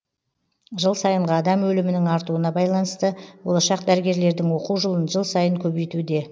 жыл сайынғы адам өлімінің артуына байланысты болашақ дәрігерлердің оқу жылын жыл сайын көбейтуде